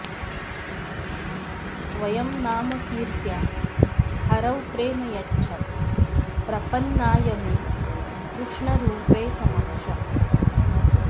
स्वयं नामकीर्त्या हरौ प्रेम यच्छत् प्रपन्नाय मे कृष्णरूपे समक्षम्